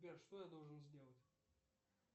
сбер что я должен сделать